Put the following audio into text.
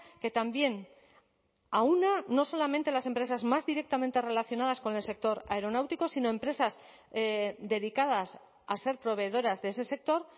que también aúna no solamente las empresas más directamente relacionadas con el sector aeronáutico sino empresas dedicadas a ser proveedoras de ese sector